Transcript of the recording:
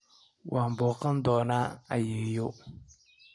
Waxaan booqan doonaa ayeeyo.